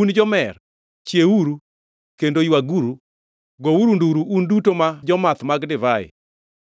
Un jomer, chiewuru kendo ywaguru! Gouru nduru, un duto ma jomath mag divai;